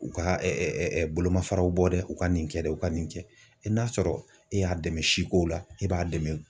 U ka bolomafaraw bɔ dɛ, u ka nin kɛ dɛ u ka nin kɛ, n'a sɔrɔ e y'a dɛmɛ si ko la ,e b'a dɛmɛ,